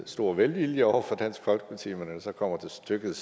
stor velvilje over for dansk folkeparti men når det så kommer til stykket